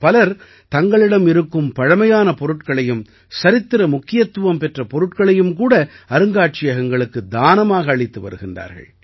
பலர் தங்களிடம் இருக்கும் பழைமையான பொருட்களையும் சரித்திர முக்கியத்துவம் பெற்ற பொருட்களையும் கூட அருங்காட்சியகங்களுக்குத் தானமாக அளித்து வருகிறார்கள்